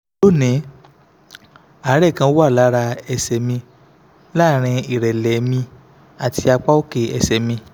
lónìí àárẹ̀ kan wà lára ẹsẹ̀ mi láàárín ìrẹ́lẹ̀ mi àti apá òkè ẹsẹ̀ mi